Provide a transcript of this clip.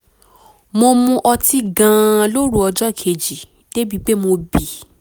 mo mu ọtí gan-an lóru ọjọ́ kejì débi pé mo bì